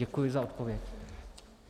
Děkuji za odpověď.